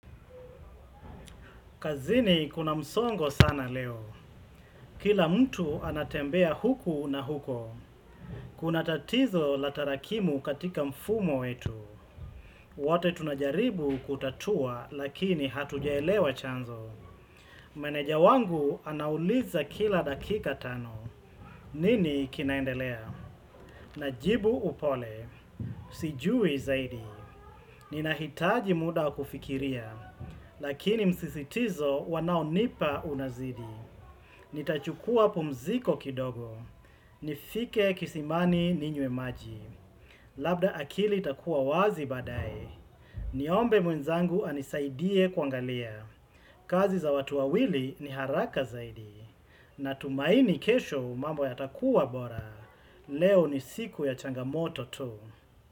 Kazini kuna msongo sana leo. Kila mtu anatembea huku na huko. Kuna tatizo la tarakimu katika mfumo wetu. Wote tunajaribu kutatua lakini hatujaelewa chanzo. Meneja wangu anauliza kila dakika tano. Nini kinaendelea? Najibu upole. Sijui zaidi. Ninahitaji muda kufikiria. Lakini msisitizo wanaonipa unazidi. Nitachukua pumziko kidogo, nifike kisimani ninywe maji Labda akili itakuwa wazi baadae, niombe mwenzangu anisaidie kuangalia kazi za watu wawili ni haraka zaidi Natumaini kesho mambo yatakuwa bora, leo ni siku ya changamoto tu.